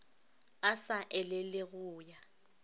a sa elele go ya